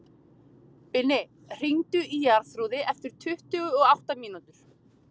Binni, hringdu í Jarþrúði eftir tuttugu og átta mínútur.